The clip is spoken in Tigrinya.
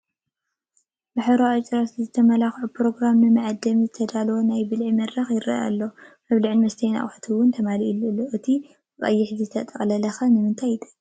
ብሕብራዊ ኣጭርቕቲ ዝመልከዐ ኘሮግራም ንመዐደሚ ዝተዳለወ ናይ ብልዒ መድረኽ ይረአ ኣሎ፡፡ መብልዕን መስተይን ኣቕሓ ውን ተማሊኡሉ ኣሎ፡፡ እቲ ብቐይሕ ዝተጠቅለለ ኸ ንምንታይ ይጠቅም?